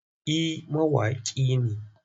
Eh mawaƙi ne.